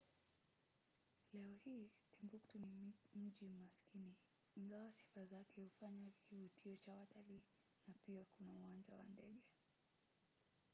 leo hii timbuktu ni mji maskini ingawa sifa zake huufanya kivutio cha watalii na pia kuna uwanja wa ndege